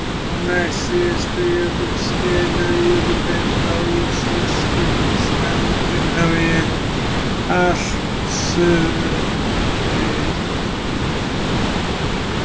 Á næstsíðasta jökulskeiði náði jökullinn frá ísaskilum í Skandinavíu allt suður til